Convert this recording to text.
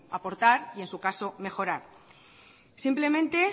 aportar y en su caso mejorar simplemente